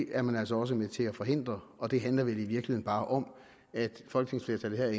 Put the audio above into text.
er man altså også med til at forhindre og det handler vel i virkeligheden bare om at folketingsflertallet